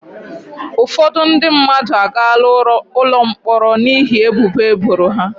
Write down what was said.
Ụfọdụ ndị mmadụ agaala ụlọ mkpọrọ n'ihi ebubo eboro ha.